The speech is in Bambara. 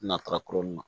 Natara kolon na